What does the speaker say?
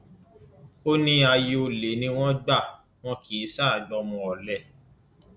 ó ní aya olè ni wọn ń gbà wọn kì í ṣáà gba ọmọ ọlẹ